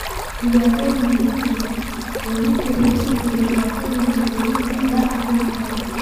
Dhibaatooyinka liqidda, oohinta huursan iyo dhibaatooyinka quudinta ayaa ah wax caadi ah.